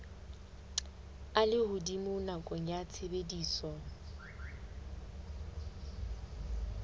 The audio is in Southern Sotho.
a lehodimo nakong ya tshebediso